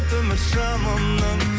үміт шамымның